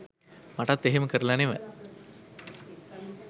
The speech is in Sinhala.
මටත් එහෙම කරල නෙව